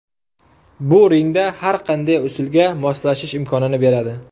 Bu ringda har qanday usulga moslashish imkonini beradi.